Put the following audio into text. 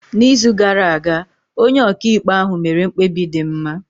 N’izu gara aga, onye ọkaikpe ahụ mere mkpebi dị mma.